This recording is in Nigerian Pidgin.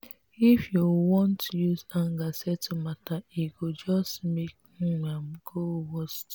if you wan use anger settle matter e go just make um am am dey worst.